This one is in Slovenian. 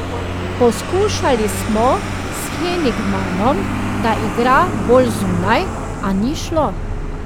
Poskušali smo s Henigmanom, da igra bolj zunaj, a ni šlo.